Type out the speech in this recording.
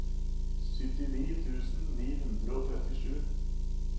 syttini tusen ni hundre og trettisju